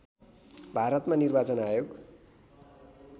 भारतमा निर्वाचन आयोग